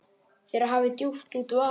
Þér hafi djúpt út vaðið.